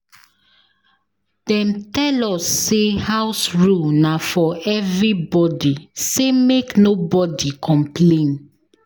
Dem tell us sey house rule na for everybodi sey make nobodi complain.